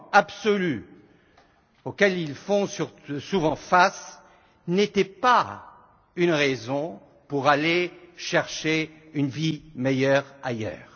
absolu auxquels ils font souvent face n'étaient pas une raison pour aller chercher une vie meilleure ailleurs.